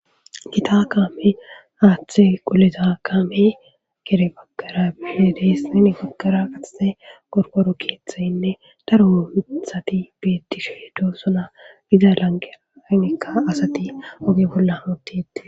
Githa kame hathe qolizakame gede bagara dees. Hini baggara qasse qorqoro kethayine daro kethathi bethishe dossona. Izza lanqenika assathi ogge bolla dethess.